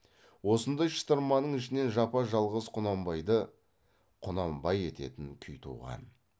осындай шытырманның ішінен жапа жалғыз құнанбайды құнанбай ететін күй туған